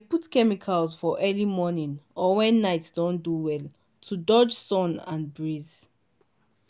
we dey put chemicals for early morning or when night don do well to dodge sun and breeze.